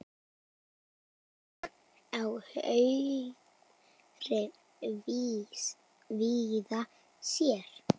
Berg á hauðri víða sérð.